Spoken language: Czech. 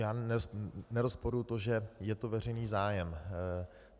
Já nerozporuji to, že je to veřejný zájem.